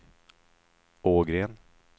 Ågren